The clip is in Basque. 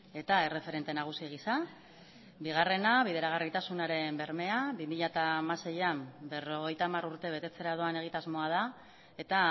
eta erreferente nagusi gisa bigarrena bideragarritasunaren bermea bi mila hamaseian berrogeita hamar urte betetzera doan egitasmoa da eta